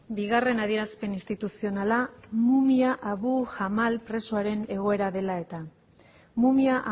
bigarren adierazpen instituzionala mumia abu jamal presoaren egoera dela eta mumia